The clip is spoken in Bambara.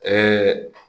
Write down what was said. Ɛɛ